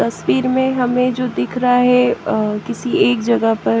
तस्वीर में हमें जो दिख रहा है किसी एक जगह पर--